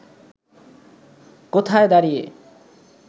কোথায় দাঁড়িয়ে